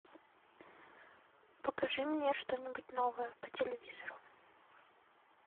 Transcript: покажи мне что нибудь новое по телевизору